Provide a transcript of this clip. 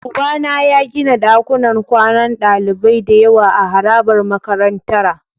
Ubana ya gina dakunan kwanan dalibai da yawa a harabar makarantara.